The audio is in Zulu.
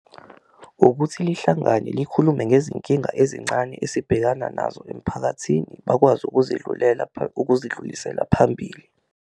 Ukuthi lihlangane likhulume ngezinkinga ezincane esibhekana nazo emphakathini bakwazi ukuzidlulisela phambili.